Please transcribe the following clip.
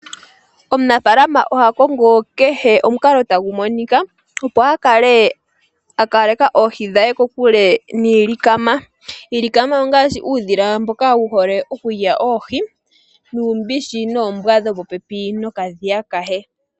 Omunafaalama oha kongo kehe omukalo tagu monika opo akale akaleka oohi dhe kokule niilikama . Iilikama ongaashi uudhila mboka wuhole okulya oohi nuumbishi, noombwa dhopopepi nokadhiya ke.